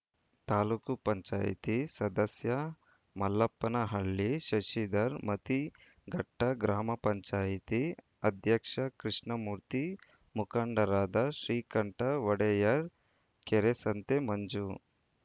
ತಾಲೂಕ್ ಪಂಚಾಯತಿ ಸದಸ್ಯ ಮಲ್ಲಪ್ಪನಹಳ್ಳಿ ಶಶಿಧರ್‌ ಮತಿಘಟ್ಟ ಗ್ರಾಮ ಪಂಚಾಯತಿ ಅಧ್ಯಕ್ಷ ಕೃಷ್ಣಮೂರ್ತಿ ಮುಖಂಡರಾದ ಶ್ರೀಕಂಠ ಒಡೆಯರ್‌ ಕೆರೆಸಂತೆ ಮಂಜು